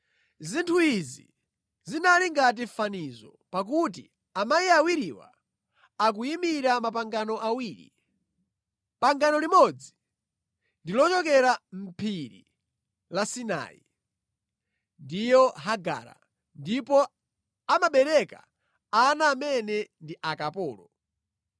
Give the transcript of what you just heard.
Zinthu izi zinali ngati fanizo, pakuti amayi awiriwa akuyimira mapangano awiri. Pangano limodzi ndi lochokera mʼPhiri la Sinai, ndiye Hagara, ndipo amabereka ana amene ndi akapolo.